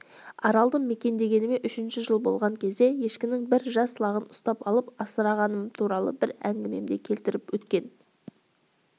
аралды мекендегеніме үшінші жыл болған кезде ешкінің бір жас лағын ұстап алып асырағаным туралы бір әңгімемде келтіріп өткен